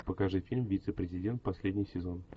покажи фильм вице президент последний сезон